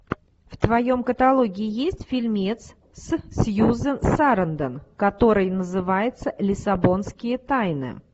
в твоем каталоге есть фильмец с сьюзен сарандон который называется лиссабонские тайны